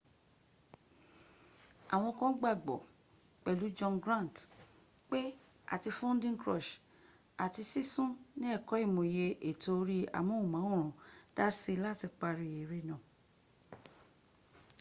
àwọn kan gbàgbọ́ pẹ̀lú john grant pé àti funding crunch àti sísún ní ẹ̀kọ́ ìmòye ètò orí amóhùnmáwòrán dási láti parí eré náà